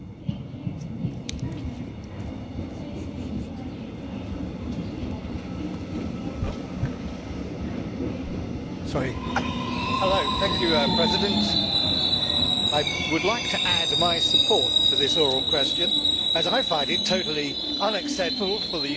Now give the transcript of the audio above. Madam President, I would like to add my support for this oral question, as I find it totally unacceptable for the United States, Canada and Mexico to be seeking to challenge the inclusion of aviation in the EU emissions trading system.